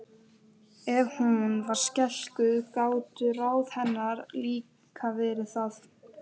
Ef hún var skeikul gátu ráð hennar líka verið það.